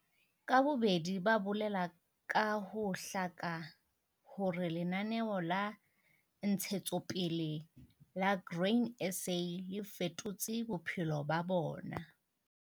Ka bobedi ba bolela ka ho hlaka hore Lenaneo la Ntshetsopele la Grain SA le fetotse bophelo ba bona.